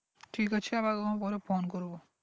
ঠিক আছে আবার কখনো পরে phone করবো